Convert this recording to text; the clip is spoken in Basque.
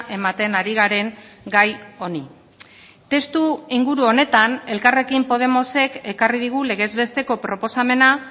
ematen ari garen gai honi testuinguru honetan elkarrekin podemosek ekarri digu legez besteko proposamena